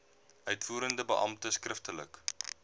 uitvoerende beampte skriftelik